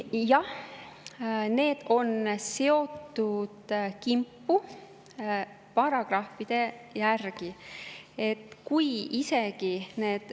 Jah, need on seotud kimpu paragrahvide järgi.